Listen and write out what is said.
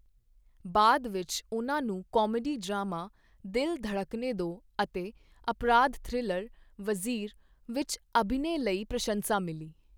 ਬਾਅਦ ਵਿੱਚ, ਉਹਨਾਂ ਨੂੰ ਕਾਮੇਡੀ ਡਰਾਮਾ 'ਦਿਲ ਧੜਕਨੇ ਦੋ' ਅਤੇ ਅਪਰਾਧ ਥ੍ਰਿਲਰ 'ਵਜ਼ੀਰ' ਵਿੱਚ ਅਭਿਨੈ ਲਈ ਪ੍ਰਸ਼ੰਸਾ ਮਿਲੀ।